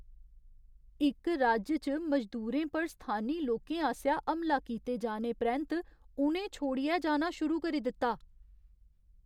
इक राज्य च मजदूरें पर स्थानी लोकें आसेआ हमला कीते जाने परैंत्त उ'नें छोड़ियै जाना शुरू करी दित्ता ।